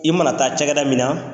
I mana taa cakɛda min na